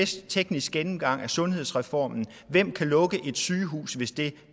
teknisk gennemgang af sundhedsreformen hvem kan lukke et sygehus hvis det